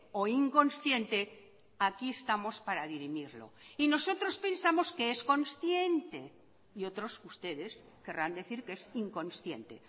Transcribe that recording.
o inconsciente aquí estamos para dirimirlo y nosotros pensamos que es consciente y otros ustedes querrán decir que es inconsciente